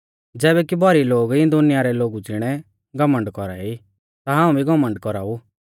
ज़ैबै कि भौरी लोग इऐं दुनिया रै लोगु ज़िणै घमण्ड कौरा ई ता हाऊं भी घमण्ड कौराऊ